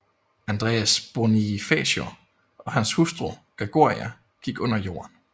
Andres Bonifacio og hans hustru Gregoria gik under jorden